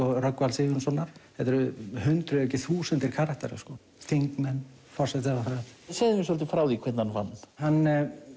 Rögnvalds Sigurjónssonar þetta eru hundruðir ef ekki þúsundir karaktera sko þingmenn forsætisráðherrar segðu mér svolítið frá því hvernig hann vann hann